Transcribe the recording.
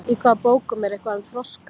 Í hvaða bókum er eitthvað um froska?